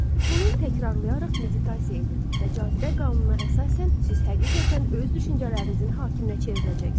Bunu təkrarlayaraq meditasiya edin və cazibə qanununa əsasən siz həqiqətən öz düşüncələrinizin hakiminə çevriləcəksiniz.